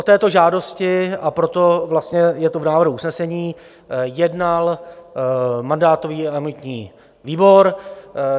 O této žádosti, a proto je to v návrhu usnesení, jednal mandátový a imunitní výbor.